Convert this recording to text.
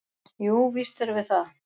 """Jú, víst erum við það."""